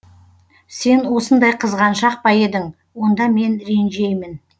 сен осындай қызганшақ па едің онда мен ренжеймін